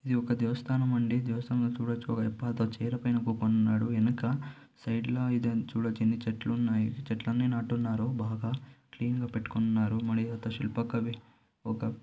ఇది ఒక దేవస్తానమండి. దేవస్థానంలో చూడొచ్చు ఒక వైపు చైర్ పైన కూకొని ఉన్నాడు . ఎనక సైడ్ ఇదం చూడొచ్చు ఎన్ని చెట్లున్నాయి. చెట్లన్నీ నాటున్నారు బాగ క్లీన్ గాపెట్టుకొని ఉన్నారు. మణి దేవత శిల్ప కవి ఒక--